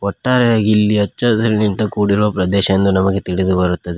ಒಟ್ಟಾರೆಯಾಗಿ ಇಲ್ಲಿ ಹಚ್ಚ ಹಸಿರಿನಿಂದ ಕೂಡಿರುವ ಪ್ರದೇಶ ಎಂದು ನಮಗೆ ತಿಳಿದು ಬರುತ್ತದೆ.